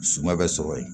Suma bɛ sɔrɔ yen